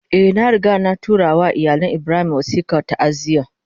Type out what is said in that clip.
Eh, na riga na tura ma iyalin Ibrahim wasikar ta'aziyya